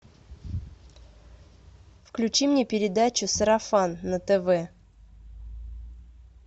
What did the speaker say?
включи мне передачу сарафан на тв